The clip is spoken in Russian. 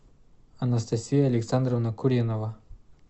анастасия александровна куринова